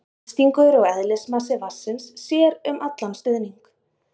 þrýstingur og eðlismassi vatnsins sér um allan stuðning